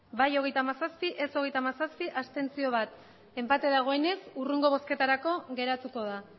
bai hogeita hamazazpi ez hogeita hamazazpi abstentzioak bat enpate dagoenez hurrengo bozketarako geratuko da